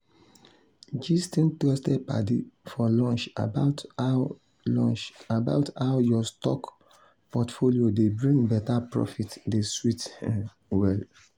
gisting trusted padi for lunch about how lunch about how your stock portfolio dey bring better profit dey sweet well.